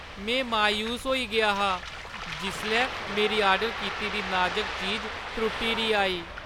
में मायूस होई गेआ हा जिसलै मेरी आर्डर कीती दी नाजक चीज त्रुट्टी दी आई।